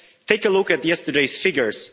Take a look at yesterday's figures.